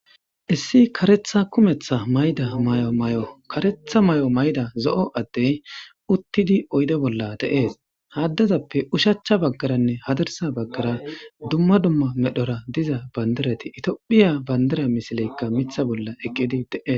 Issi karetha kumetha mayida mayo mayo zo'o adey utidi guye bolla de'es ha adezape oshacha bagaranne hadira bagara dumma dumma medhoara diza pandira etophiya pandira misile mitha bolla eqidi de'es